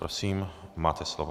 Prosím, máte slovo.